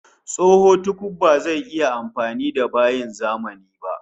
Tsoho tukuf bazai iya amfani da bayin zamani ba